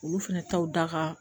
Olu fɛnɛ taw da ka